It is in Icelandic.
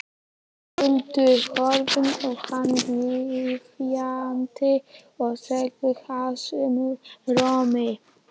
Huldu, horfði á hana biðjandi og sagði hásum rómi